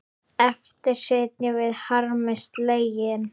Eftir sitjum við harmi slegin.